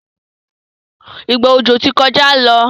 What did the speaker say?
Ìgbà ọjọ tó kọjá ló.